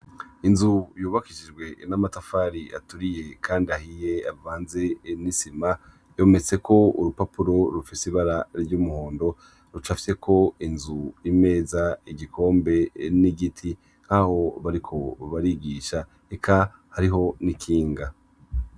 Inzu yubakishijwe namatafari aturiye kandi ahiye avanze nisima ihometseko urupapuro rufise ibara ryumuhondo rucafyeko inzu imeza igikombe nigiti nkaho bariko barigisha eka hariho nikinga